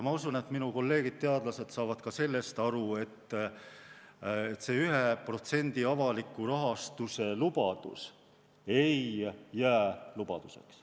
Ma usun, et minu kolleegid teadlased saavad ka sellest aru, et see 1% avaliku rahastuse lubadus ei jää lubaduseks.